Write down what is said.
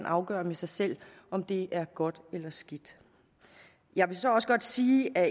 afgøre med sig selv om det er godt eller skidt jeg vil så også godt sige at